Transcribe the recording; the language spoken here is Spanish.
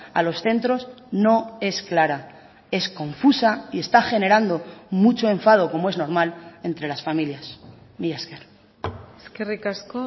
a los centros no es clara es confusa y está generando mucho enfado como es normal entre las familias mila esker eskerrik asko